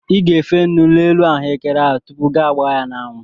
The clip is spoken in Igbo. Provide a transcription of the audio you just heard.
I ga-efe nnu n'elu ahụekere ahụ tupu gi agbaa ya n'anwụ?